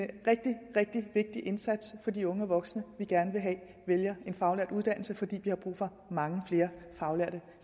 rigtig rigtig vigtig indsats for de unge og voksne vi gerne vil have vælger en faglært uddannelse fordi vi har brug for mange flere faglærte